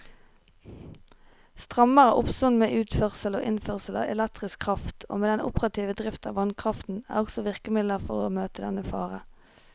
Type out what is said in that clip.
Strammere oppsyn med utførsel og innførsel av elektrisk kraft og med den operative drift av vannkraften er også virkemidler for å møte denne fare.